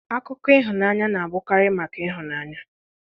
Akụkọ ịhụnanya na-abụkarị maka ịhụnanya